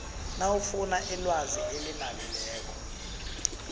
nawufuna ilwazi elinabileko